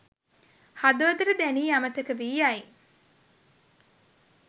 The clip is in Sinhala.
හදවතට දැනී අමතක වී යයි.